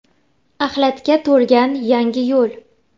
Axlatga to‘lgan Yangiyo‘l .